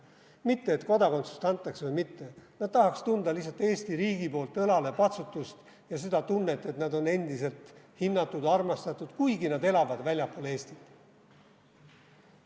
Mitte kas kodakondsust antakse või mitte, nad tahaks tunda lihtsalt Eesti riigi poolt õlalepatsutust ja seda tunnet, et nad on endiselt hinnatud, armastatud, kuigi nad elavad väljaspool Eestit.